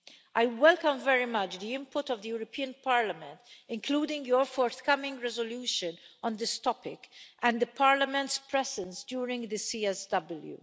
I welcome very much the input of the European Parliament, including your forthcoming resolution on this topic, and the Parliament's presence during this CSW.